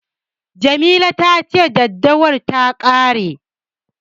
Jamila ta ce daddawar ta ƙare.